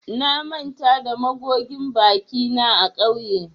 Na manta da magogin bakina a kauye